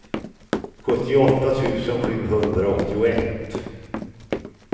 sjuttioåtta tusen sjuhundraåttioett